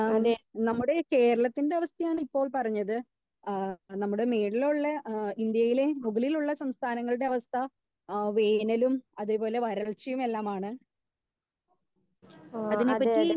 speaker 1 അതെ ആഹ് അതെ അതെ